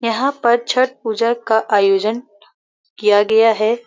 यहाँ पर छठ पूजा का आयोजन किया गया है।